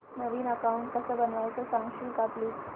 नवीन account कसं बनवायचं सांगशील का प्लीज